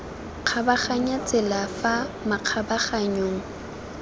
kgabaganyang tsela fa makgabaganyong a